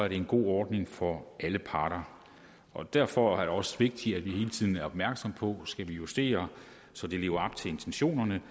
det en god ordning for alle parter og derfor er det også vigtigt at vi hele tiden er opmærksomme på om skal justere så det lever op til intentionerne